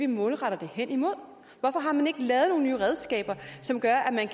målretter det hen imod hvorfor har man ikke lavet nogle nye redskaber som gør at man